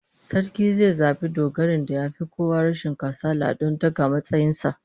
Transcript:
Sarki zai zabi dogarin da yafi kowa rashin kasala don daga matsayin sa